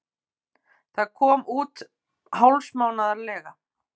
Það kom út hálfsmánaðarlega.